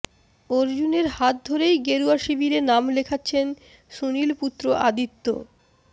অর্জুনের হাত ধরেই গেরুয়া শিবিরে নাম লেখাচ্ছেন সুনীল পুত্র আদিত্য